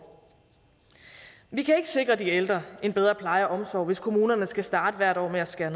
vi kan ikke sikre de ældre en bedre pleje og omsorg hvis kommunerne skal starte hvert år med at skære